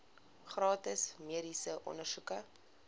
gratis mediese ondersoeke